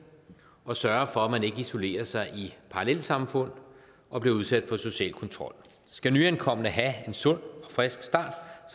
og sørge for at man ikke isolerer sig i parallelsamfund og bliver udsat for social kontrol skal nyankomne have en sund og frisk start